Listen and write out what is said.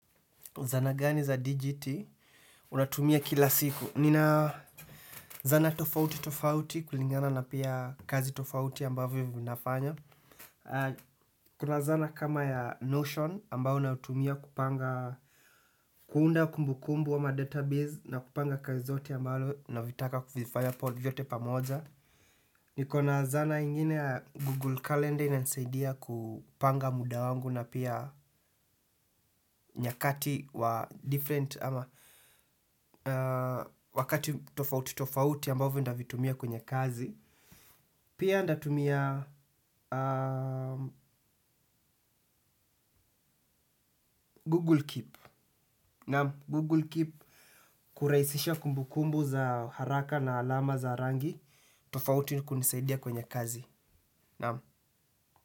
Sana gani za DGT unatumia kila siku. Nina zana tofauti tofauti kulingana na pia kazi tofauti ambavyo vinafanya. Kuna zana kama ya Notion ambao nautumia kupanga. Kuunda kumbukumbu ama database na kupanga kazi zote ambalo navitaka kuvifaya pod vyote pamoja. Nikona zana ingine ya Google Calendar inatusaidia kupanga muda wangu na pia nyakati wa different ama wakati tofauti tofauti ambao ndavitumia kwenye kazi. Pia ndatumia Google Keep Na Google Keep kuraisisha kumbukumbu za haraka na alama za rangi. Tofauti ni kunisaidia kwenye kazi na.